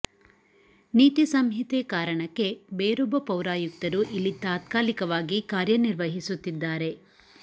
ನೀತಿ ಸಂಹಿತೆ ಕಾರಣಕ್ಕೆ ಬೇರೊಬ್ಬ ಪೌರಾಯುಕ್ತರು ಇಲ್ಲಿ ತಾತ್ಕಾಲಿಕವಾಗಿ ಕಾರ್ಯ ನಿರ್ವಹಿಸುತ್ತಿದ್ದಾರೆ